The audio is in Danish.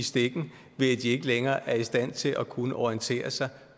stikken ved at de ikke længere er i stand til at kunne orientere sig